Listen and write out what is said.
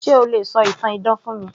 Se o lè ṣọ ìtàn idán fún mi